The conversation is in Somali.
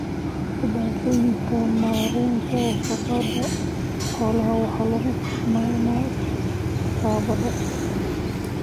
Dhibaatooyinka maaraynta wasakhda xoolaha waxa lagu tilmaamay caqabad.